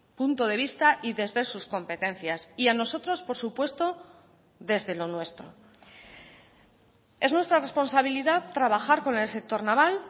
punto de vista y desde sus competencias y a nosotros por supuesto desde lo nuestro es nuestra responsabilidad trabajar con el sector naval